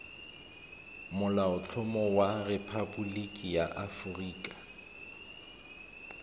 molaotlhomo wa rephaboliki ya aforika